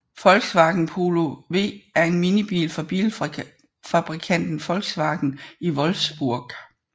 Volkswagen Polo V er en minibil fra bilfabrikanten Volkswagen i Wolfsburg